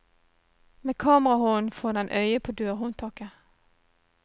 Med kamerahånden får den øye på dørhåndtaket.